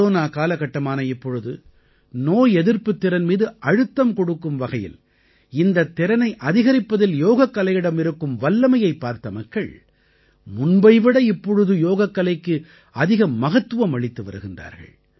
corona காலகட்டமான இப்பொழுது நோய் எதிர்ப்புத் திறன் மீது அழுத்தம் கொடுக்கும் வகையில் இந்தத் திறனை அதிகரிப்பதில் யோகக்கலையிடம் இருக்கும் வல்லமையைப் பார்த்த மக்கள் முன்பை விட இப்பொழுது யோகக்கலைக்கு அதிக மகத்துவம் அளித்து வருகின்றார்கள்